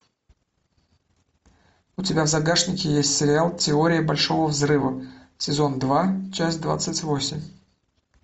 у тебя в загашнике есть сериал теория большого взрыва сезон два часть двадцать восемь